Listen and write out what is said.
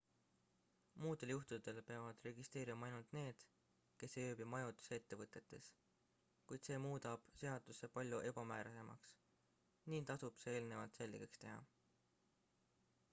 muudel juhtudel peavad registreeruma ainult need kes ei ööbi majutusettevõtetes kuid see muudab seaduse palju ebamäärasemaks nii tasub see eelnevalt selgeks teha